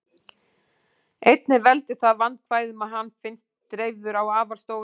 Einnig veldur það vandkvæðum að hann finnst dreifður á afar stórum svæðum.